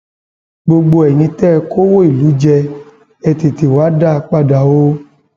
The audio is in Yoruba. gbogbo eyín tẹ ẹ kọwọ ìlú jẹ ẹ tètè wáá dá a padà o